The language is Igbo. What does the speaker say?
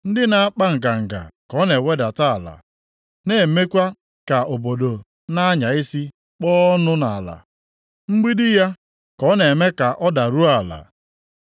Ndị na-akpa nganga ka ọ na-ewedata ala, na-emekwa ka obodo na-anya isi kpọọ ọnụ nʼala. Mgbidi ya ka ọ na-eme ka ọ daruo ala.